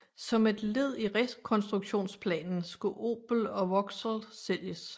Som led i rekonstruktionsplanen skulle Opel og Vauxhall sælges